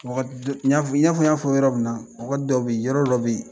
wagati i n'a fɔ n y'a fɔ yɔrɔ min na wagati dɔw bɛ yen yɔrɔ dɔw bɛ yen